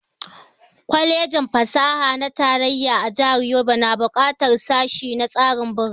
Kwalejin fasaha na tarayya a jihar Yobe na buƙatar sashe na tsarin birane